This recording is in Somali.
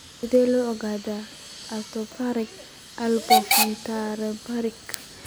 Sidee loo ogaadaa atrophy olivopontocerebellarka?